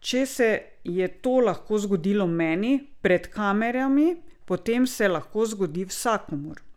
Če se je to lahko zgodilo meni, pred kamerami, potem se lahko zgodi vsakomur!